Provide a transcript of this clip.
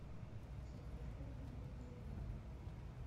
закажи мне пельмени